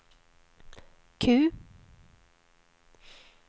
Q